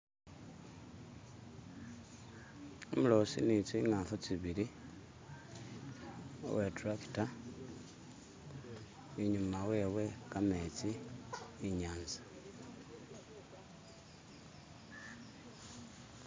Umuloosi ni tsingafu tsibili uwe turakita inyuma wewe kametsi inyatsa